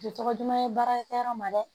Tɛ tɔgɔ duman ye baarakɛ yɔrɔ ma dɛ